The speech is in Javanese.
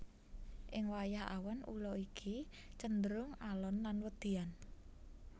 Ing wayah awan ula iki cenderung alon lan wedian